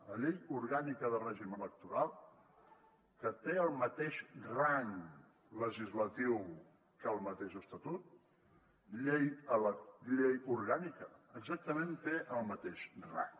la llei orgànica de règim electoral que té el mateix rang legislatiu que el mateix estatut llei orgànica exactament té el mateix rang